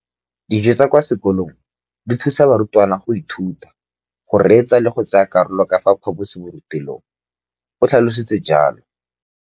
Dijo tsa kwa sekolong dithusa barutwana go ithuta, go reetsa le go tsaya karolo ka fa phaposiborutelong, o tlhalositse jalo.